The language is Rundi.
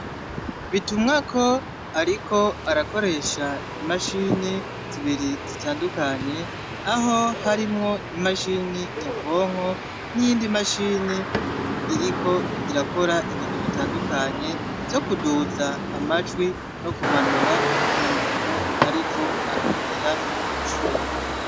Bitumwako ariko arakoresha imashini zibiri zitandukanye, aho harimwo imashini nyabwonko, n'iyindi mashini iriko irakora ibintu bitandukanye, vyo kuduza amajwi, no kumanura ku muntu ariko aravugira ivyuma.